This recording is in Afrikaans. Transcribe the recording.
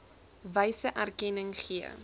wyse erkenning gee